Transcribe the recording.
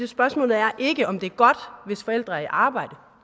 spørgsmålet er ikke om det er godt hvis forældre er i arbejde